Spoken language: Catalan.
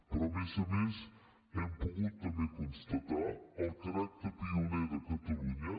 però a més a més hem pogut també constatar el caràcter pioner de catalunya